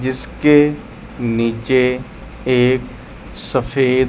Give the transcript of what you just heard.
जिसके नीचे एक सफेद--